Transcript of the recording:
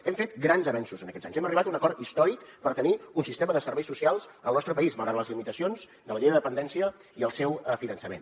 hem fet grans avenços en aquests anys hem arribat a un acord històric per tenir un sistema de serveis socials al nostre país malgrat les limitacions de la llei de dependència i el seu finançament